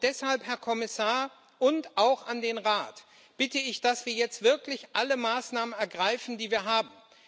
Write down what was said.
Deshalb Herr Kommissar und auch an den Rat bitte ich, dass wir jetzt wirklich alle Maßnahmen ergreifen, die wir haben.